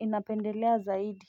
ninapendelea zaidi.